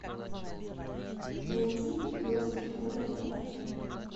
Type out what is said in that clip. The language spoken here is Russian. найти пес и ко на тв